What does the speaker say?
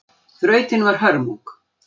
Þrautin var hörmung